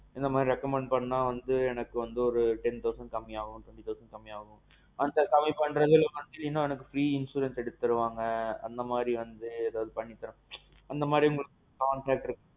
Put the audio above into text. இந்த மாறி recommend பண்ணா வந்து எனக்கு வந்து ஒரு ten thousand கம்மி ஆவும். twenty thousand கம்மி ஆவும்னு. அங்க கம்மி பண்றது இல்லாமே free insurance எல்லாம் பண்ணி தருவாங்க அந்த மாதிரி எதாவது பண்ணி தர முடியுமா. அந்த மாறி உங்களுக்கு contact இருக்கா?